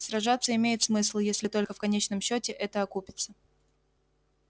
сражаться имеет смысл если только в конечном счёте это окупиться